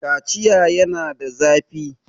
Kaciya yana da zafi.